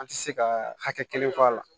An ti se ka hakɛ kelen fɔ a la